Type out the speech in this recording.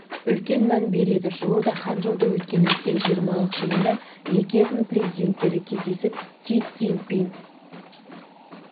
үлкен мән береді жуырда ханчжоуда өткен үлкен жиырмалық жиынында екі елдің президенттері кездесіп си цзиньпин